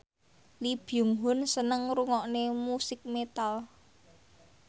Lee Byung Hun seneng ngrungokne musik metal